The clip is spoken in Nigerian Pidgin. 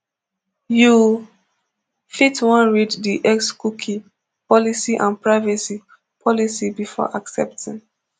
you fit wan read di xcookie policy and privacy policy before accepting